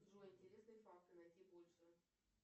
джой интересные факты найти больше